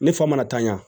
Ne fa mana taa ɲɛ